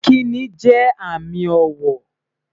Ìkíni jẹ́ àmì ọ̀wọ̀